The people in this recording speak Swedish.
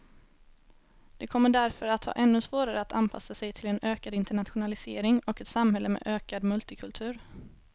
De kommer därför att ha ännu svårare att anpassa sig till en ökad internationalisering och ett samhälle med ökad multikultur.